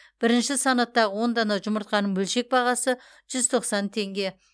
бірінші санаттағы он дана жұмыртқаның бөлшек бағасы жүз тоқсан теңге